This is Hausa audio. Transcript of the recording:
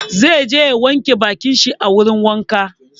Zai je ya wanke bakin shi a wurin wanka.